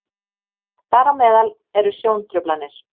þar á meðal eru sjóntruflanir